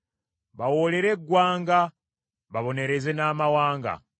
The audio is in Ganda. bawoolere eggwanga, babonereze n’amawanga,